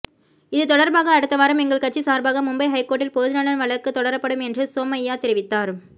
இது தொடர்பாக அடுத்தவாரம் எங்கள் கட்சி சார்பாக மும்பை ஐகோர்ட்டில் பொதுநலன் வழக்கு தொடரப்படும் என்றும் சோமைய்யா தெரிவித்தார்